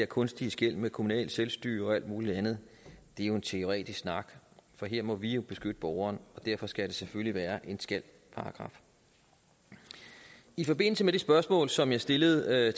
kunstige skel med kommunalt selvstyre og alt muligt andet jo en teoretisk snak for her må vi jo beskytte borgeren og derfor skal det selvfølgelig være en skal paragraf i forbindelse med det spørgsmål som jeg stillede